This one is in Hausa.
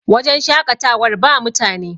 wajen shaƙatawar ba mutane